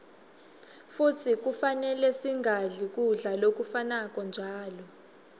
futsi kufanele singadli kudla lokufanako njalo